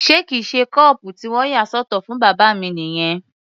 Ṣé kìí ṣe kọ́ọ̀pù tí wọ́n yà sọ́tọ̀ fún bàbá mi nìyẹn?